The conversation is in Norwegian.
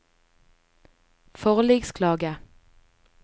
forliksklage